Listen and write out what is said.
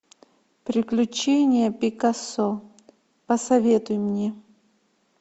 приключения пикассо посоветуй мне